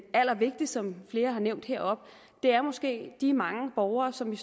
allervigtigste som flere har nævnt heroppe er måske de mange borgere som